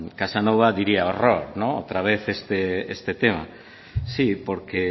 casanova diría horror otra vez este tema sí porque